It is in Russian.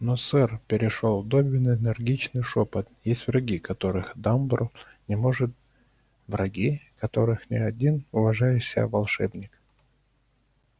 но сэр перешёл добби на энергичный шёпот есть враги которых дамблдор не может враги которых ни один уважающий себя волшебник